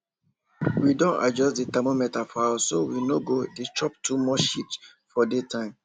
we don adjust the thermostat for house so we no go dey chop too much heat for daytime